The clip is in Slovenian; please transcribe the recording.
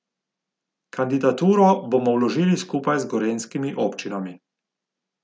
Kandidaturo bomo vložili skupaj z gorenjskimi občinami.